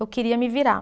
Eu queria me virar.